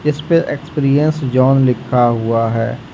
इसपे experience John लिखा हुआ है।